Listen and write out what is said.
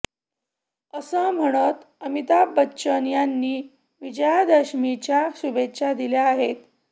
असं म्हणत अमिताभ बच्चन यांनी विजयादशमीच्या शुभेच्छा दिल्या आहेत